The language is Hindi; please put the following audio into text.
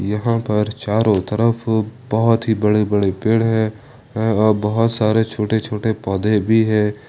यहां पर चारों तरफ बहुत ही बड़े बड़े पेड़ है और बहुत सारे छोटे छोटे पौधे भी हैं।